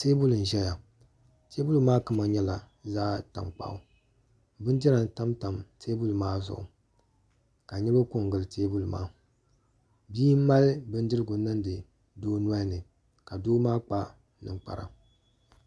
Teebuli n ʒɛya teebuli maa kama nyɛla zaɣ tankpaɣu bindira n tamtam teebuli maa zuɣu ka niraba ko n gili teebuli maa bia n mali bindirigu niŋdi doo nolini ka doo maa kpa ninkpara